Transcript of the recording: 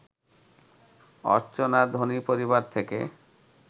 অর্চনা ধনী পরিবার থেকে